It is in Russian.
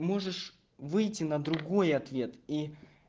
можешь выйти на другой ответ и